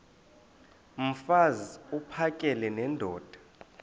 mfaz uphakele nendoda